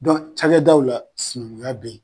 cakɛdaw la sinankunya bɛ ye.